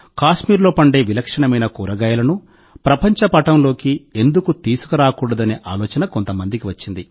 కాశ్మీర్లో పండే విలక్షణమైన కూరగాయలను ప్రపంచ పటంలోకి ఎందుకు తీసుకురాకూడదనే ఆలోచన కొంతమందికి వచ్చింది